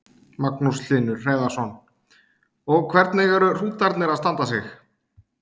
Magnús Hlynur Hreiðarsson: Og hvernig eru hrútarnir að standa sig?